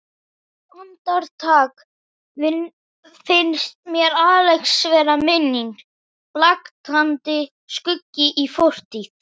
Andartak finnst mér Axel vera minning, blaktandi skuggi í fortíð.